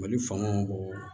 Mali faamaw b'o